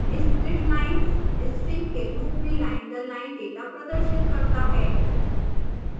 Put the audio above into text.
splitlines strings के रूप में लाइन दर लाइन डेटा प्रदर्शित करता है